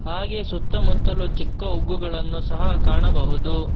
ಹಾಗೆ ಸುತ್ತ ಮುತ್ತಲು ಚಿಕ್ಕ ಉಗ್ಗುಗಳನ್ನು ಸಹ ಕಾಣಬಹುದು.